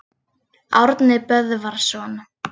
Árni Böðvarsson.